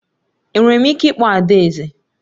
Enwere m ike ịkpọ adaeze?